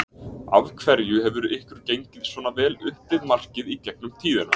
Af hverju hefur ykkur gengið svona vel upp við markið í gegnum tíðina?